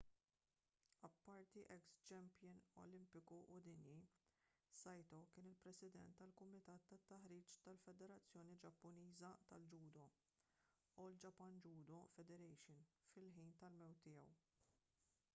apparti eks-champion olimpiku u dinji saito kien il-president tal-kumitat tat-taħriġ tal-federazzjoni ġappuniża tal-ġudo all japan judo federation fil-ħin tal-mewt tiegħu